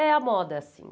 É, a moda, sim.